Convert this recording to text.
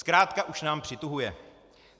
Zkrátka už nám přituhuje.